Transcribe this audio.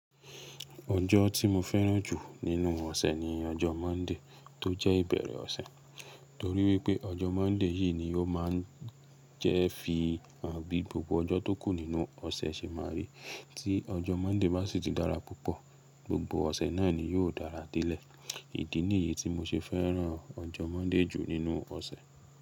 Ojo ti mo feran ju ninu ose ni ojo Monday to je ibere ose. Tori wipe ojo Monday yi ni o ma n je fi hàn bi gbogbo ojo to ku ninu ose se ma ri. Ti ojo Monday ba si ti dara pupo, gbogbo ose naa ni yio dara dele. Idi niyi ti mo se feran ojo Monday ju ninu ose.